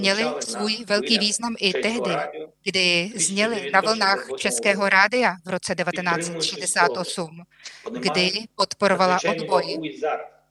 Měla svůj velký význam i tehdy, kdy zněla na vlnách českého rádia v roce 1968, kdy podporovala odboj.